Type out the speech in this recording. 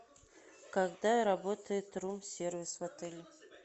когда работает рум сервис в отеле